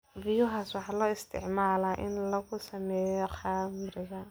Vihuyas waxaa loo isticmaalaa in lagu sameeyo khamriga.